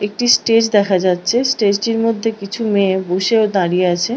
একটি স্টেজ দেখা যাচ্ছে। স্টেজ টির মধ্যে কিছু মেয়ে বসে দাঁড়িয়ে আছে--